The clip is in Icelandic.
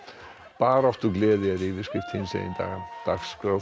baráttugleði er yfirskrift hinsegin daga dagskrá